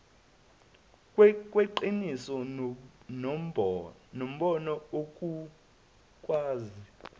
kweqiniso nombono ukukwazi